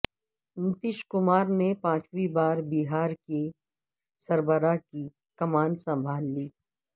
نتیش کمار نے پانچویں بار بہار کے سربراہ کی کمان سنبھال لی